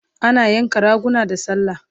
Ana yanka raguna da sallah